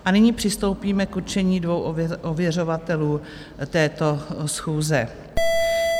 A nyní přistoupíme k určení dvou ověřovatelů této schůze.